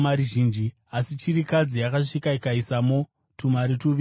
Asi chirikadzi yakasvika ikaisamo tumari tuviri tuduku.